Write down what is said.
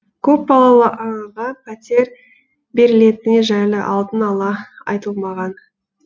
көпбалалы анаға пәтер берілетіні жайлы алдын ала айтылмаған